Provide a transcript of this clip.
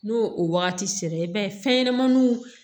N'o o wagati sera i b'a ye fɛnɲɛnɛmaninw